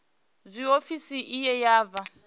zwe ofisi iyi ya vha